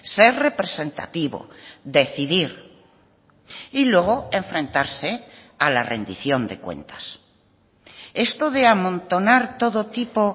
ser representativo decidir y luego enfrentarse a la rendición de cuentas esto de amontonar todo tipo